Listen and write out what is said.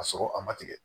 Ka sɔrɔ a ma tigɛ